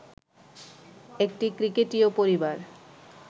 একটি ক্রিকেটীয় পরিবার